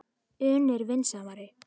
un er vandasamari.